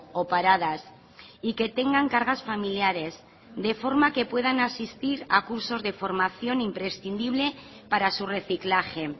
o paradas y que tengan cargas familiares de forma que puedan asistir a cursos de formación imprescindible para su reciclaje